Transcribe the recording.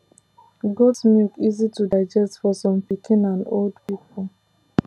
goat milk easy to digest for some pikin and old people